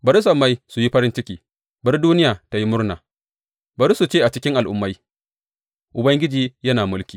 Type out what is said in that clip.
Bari sammai su yi farin ciki, bari duniya tă yi murna; bari su ce a cikin al’ummai, Ubangiji yana mulki!